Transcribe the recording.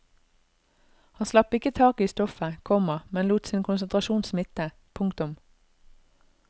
Han slapp ikke taket i stoffet, komma men lot sin konsentrasjon smitte. punktum